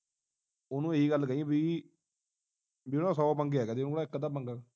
ਉਹਨੂੰ ਇਹੀ ਗੱਲ ਕਹੀ ਬਈ ਬਈ ਉਹਨੂੰ ਨਾ ਸੌ ਪੰਗੇ ਹੈਗੇ ਆ ਉਹਨੂੰ ਨਾ ਇਕ ਅੱਧਾ ਪੰਗਾ